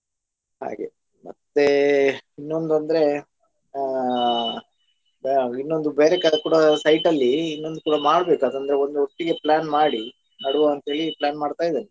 ಹಾಗೆ ಮತ್ತೆ ಇನ್ನೊಂದು ಅಂದ್ರೆ ಅಹ್ ಇನ್ನೊಂದು ಬೇರೆ ಕಡೆ ಕೂಡ site ಅಲ್ಲಿ ಇನ್ನೊಂದು ಕೂಡ ಮಾಡ್ಬೇಕು ಅದು ಅಂದ್ರೆ ಒಂದು ಒಟ್ಟಿಗೆ plan ಮಾಡಿ ನಡುವ ಅಂತೇಳಿ plan ಮಾಡ್ತ ಇದ್ದೇನೆ ಹ್ಮ್.